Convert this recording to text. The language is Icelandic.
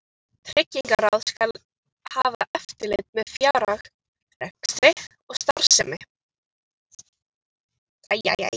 Tryggingaráð skal hafa eftirlit með fjárhag, rekstri og starfsemi